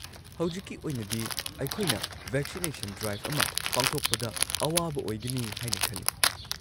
ꯍꯧꯖꯤꯛꯀꯤ ꯑꯣꯏꯅꯗꯤ, ꯑꯩꯈꯣꯏꯅ ꯚꯦꯛꯁꯤꯅꯦꯁꯟ ꯗ꯭ꯔꯥꯏꯚ ꯑꯃ ꯄꯥꯡꯊꯣꯛꯄꯗ ꯑꯋꯥꯕ ꯑꯣꯏꯒꯅꯤ ꯍꯥꯏꯅ ꯈꯜꯂꯤ꯫